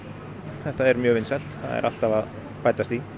þetta er mjög vinsælt það er alltaf að bætast í